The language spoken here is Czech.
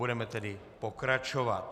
Budeme tedy pokračovat.